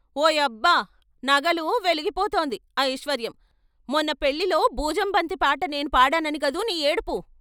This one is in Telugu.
ఓ యబ్బ, నగలు! వెలిగిపోతోంది ఐశ్వర్యం, మొన్న పెళ్ళిలో బూజం బంతి పాట నేను పాడానని కదూ నీ ఏడుపు.